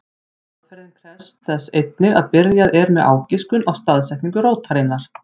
Aðferðin krefst þess einnig að byrjað er með ágiskun á staðsetningu rótarinnar.